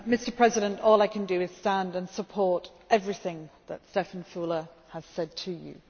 Mr President, all I can do is stand and support everything that Štefan Füle has said to you.